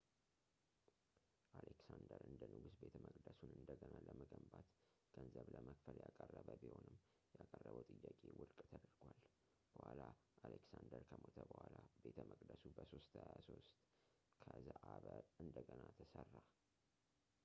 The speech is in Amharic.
አሌክሳንደር እንደ ንጉሥ ቤተመቅደሱን እንደገና ለመገንባት ገንዘብ ለመክፈል ያቀረበ ቢሆንም ያቀረበው ጥያቄ ውድቅ ተደርጓል በኋላ አሌክሳንደር ከሞተ በኋላ ቤተ መቅደሱ በ 323 ከዘአበ እንደገና ተሠራ